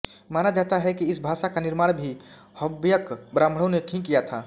माना जाता है कि इस भाषा का निर्माण भी हव्यक ब्राह्मणों ने ही किया था